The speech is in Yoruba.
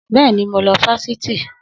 Bẹ́ẹ̀ni, mo lọ sí fáṣítì